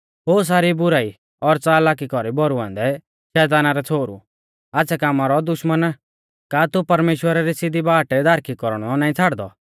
ओ सारी बुराई और च़ालाकी कौरी भरुऔन्दै शैताना रै छ़ोहरु आच़्छ़ै कामा रौ दुश्मना का तू परमेश्‍वरा री सिधी बाट दारखी कौरणौ नाईं छ़ाड़दौ